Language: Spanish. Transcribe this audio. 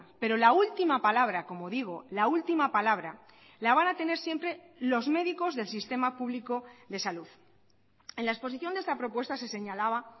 pero la última palabra como digo la última palabra la van a tener siempre los médicos del sistema público de salud en la exposición de esta propuesta se señalaba